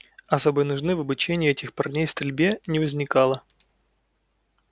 особой нужды в обучении этих парней стрельбе не возникало